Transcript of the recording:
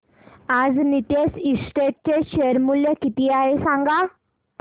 आज नीतेश एस्टेट्स चे शेअर मूल्य किती आहे सांगा